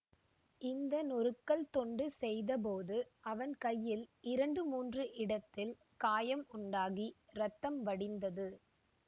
இந்த நொறுக்கல் தொண்டு செய்தபோது அவன் கையில் இரண்டு மூன்று இடத்தில் காயம் உண்டாகி இரத்தம் வடிந்தது